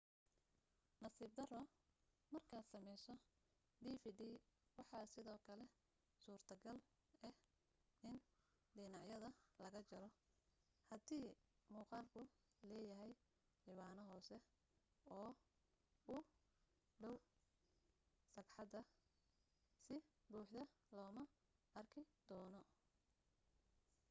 nasiib daro markaad samayso dvd waxaa sidoo kale suurto gal ah in dhanacyada laga jaro hadii muqaalku leeyahay ciwaano hoose oo u dhow sagxadda si buuxda looma arki doono